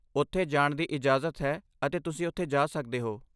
ਓਥੇ ਜਾਣ ਦੀ ਇਜਾਜ਼ਤ ਹੈ ਅਤੇ ਤੁਸੀਂ ਓਥੇ ਜਾਂ ਸਕਦੇ ਹੋ